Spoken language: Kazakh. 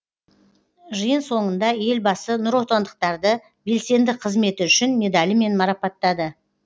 жиын соңында елбасы нұротандықтарды белсенді қызметі үшін медалімен марапаттады